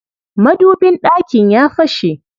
Madubin ɗakin ya fashe.